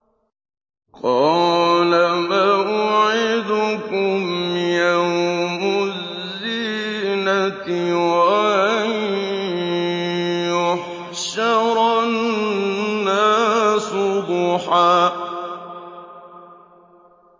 قَالَ مَوْعِدُكُمْ يَوْمُ الزِّينَةِ وَأَن يُحْشَرَ النَّاسُ ضُحًى